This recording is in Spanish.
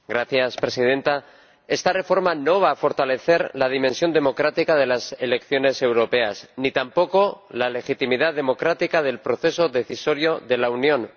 Señora Presidenta, esta reforma no va a fortalecer la dimensión democrática de las elecciones europeas, ni tampoco la legitimidad democrática del proceso decisorio de la Unión